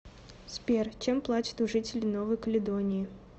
сбер чем платят у жителей новой каледонии